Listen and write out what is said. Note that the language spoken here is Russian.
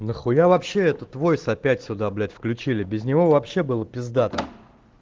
нахуя вообще этот войс опять сюда блять включили без него вообще было пиздато